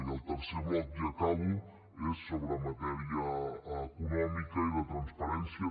i el tercer bloc i acabo és sobre matèria econòmica i de transparència